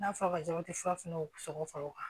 N'a fɔra dɔrɔn i ti furafiniw sɔgɔ fara o kan